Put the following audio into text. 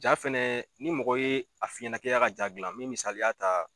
Ja fɛnɛ ni mɔgɔ ye a f'i ɲɛnɛ k'i ka ja gilan min misaliya ta